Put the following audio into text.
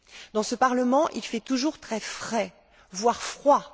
Dans ce Parlement, il fait toujours très frais, voire froid.